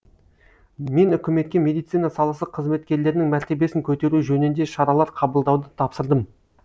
мен үкіметке медицина саласы қызметкерлерінің мәртебесін көтеру жөнінде шаралар қабылдауды тапсырдым